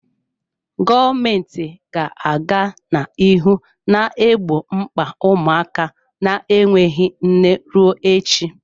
Gọọmenti ga-aga n'ihu na-egbo mkpa ụmụaka na-enweghị nne ruo echi.